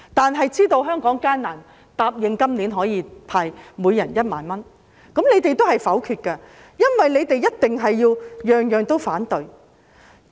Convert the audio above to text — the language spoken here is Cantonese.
政府知道香港艱難，答應今年向每人派發1萬元，但你們同樣會否決預算案，因為你們一定事事也反對。